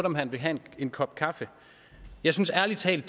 om han ville have en kop kaffe jeg synes ærlig talt